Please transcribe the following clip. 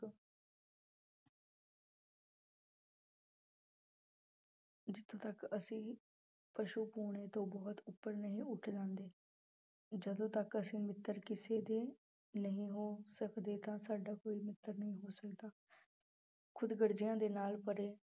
ਜਿੱਥੋਂ ਤੱਕ ਅਸੀਂ ਪਸੂਪੁਣੇ ਤੋਂ ਬਹੁਤ ਉੱਪਰ ਨਹੀਂ ਉੱਠ ਜਾਂਦੇ, ਜਦੋਂ ਤੱਕ ਅਸੀਂ ਮਿੱਤਰ ਕਿਸੇ ਦੇ ਨਹੀਂ ਹੋ ਸਕਦੇ ਤਾਂ ਸਾਡਾ ਕੋਈ ਮਿੱਤਰ ਨਹੀਂ ਹੋ ਸਕਦਾ ਖ਼ੁਦਗਰਜ਼ੀਆਂ ਦੇ ਨਾਲ ਭਰੇ